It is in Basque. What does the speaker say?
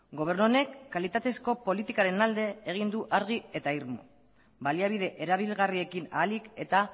gobernu honek kalitatezko politikaren alde egin du argi eta irmo baliabide erabilgarriekin ahalik eta